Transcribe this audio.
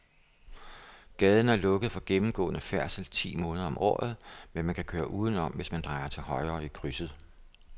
Gaden er lukket for gennemgående færdsel ti måneder om året, men man kan køre udenom, hvis man drejer til højre i krydset.